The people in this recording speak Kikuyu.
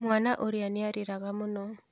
Mwana ũrĩa nĩarĩraga mũno.